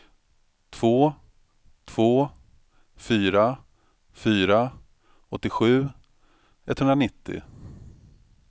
två två fyra fyra åttiosju etthundranittio